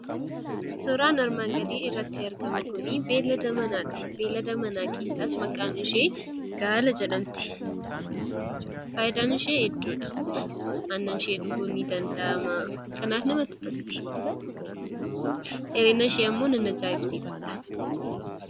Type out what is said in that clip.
Suuraan armaan gadii irratti argamu kun beelada manaati. Beelada manaa keessaas maqaan ishee Gaala jedhamti. Fayidaan ishee hedduudha. Aannan ishee dhuguun ni danda'ama kanaaf namatti tolti. dheerina isheemmoo nan ajaa'ibsiifadha.